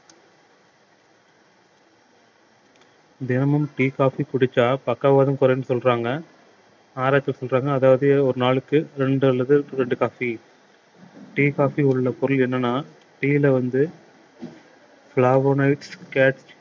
தினமும் tea coffee குடிச்சா பக்கவாதம் குறையும்ன்னு சொல்றாங்க ஆராய்ச்சி சொல்றாங்க அதாவது ஒரு நாளுக்கு இரண்டு அல்லது இரண்டு coffee tea coffee ல உள்ள பொருள் என்னன்னா tea ல வந்து flavonoids